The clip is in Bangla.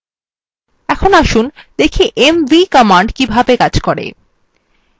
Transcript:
এখন আসুন দেখি mv command কিভাবে কাজ করে